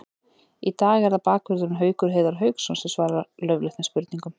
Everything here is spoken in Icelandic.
Í dag er það bakvörðurinn Haukur Heiðar Hauksson sem svarar laufléttum spurningum.